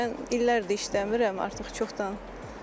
Mən illərdir işləmirəm, artıq çoxdan.